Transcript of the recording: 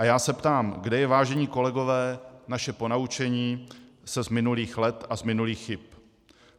A já se ptám: Kde je, vážení kolegové, naše ponaučení se z minulých let a z minulých chyb?